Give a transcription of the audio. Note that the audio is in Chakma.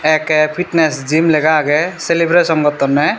A_K fitness jim lega agey celebration gottonney.